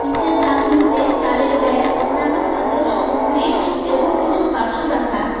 নীচের তাকগুলিতে চালের ব্যাগ অন্যান্য খাদ্র সামগ্রী এবং কিছু বাক্স রাখা।